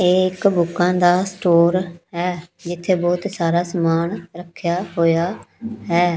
ਇਹ ਇੱਕ ਬੁੱਕਾਂ ਦਾ ਸਟੋਰ ਹੈ ਜਿੱਥੇ ਬਹੁਤ ਸਾਰਾ ਸਮਾਨ ਰੱਖਿਆ ਹੋਇਆ ਹੈ।